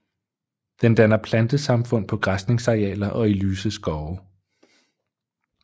Den danner plantesamfund på græsningsarealer og i lyse skove